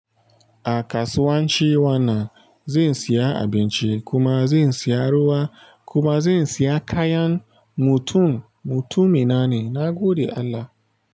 A kasuwanci wannan zan siya abinci kuma zan siya ruwa kuma zan siya kayan mutum. Mutumina ne? Na gode Allah.